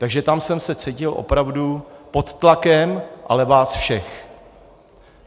Takže tam jsem se cítil opravdu pod tlakem, ale vás všech.